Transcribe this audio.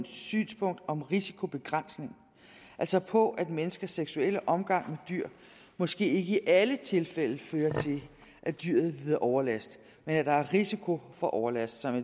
synspunkt om risikobegrænsning altså på at menneskers seksuelle omgang med dyr måske ikke i alle tilfælde fører til at dyret lider overlast men at der er risiko for overlast og at